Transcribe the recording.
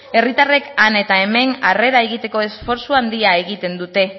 herritarrek han eta hemen arrera egiteko esfortzu handia egiten dute